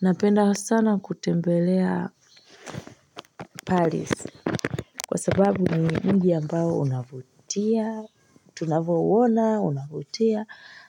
Napenda sana kutembelea Paris kwa sababu ni mji ambao unavutia. Tunavyouona unavutia